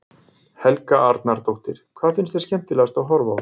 Helga Arnardóttir: Hvað finnst þér skemmtilegast að horfa á?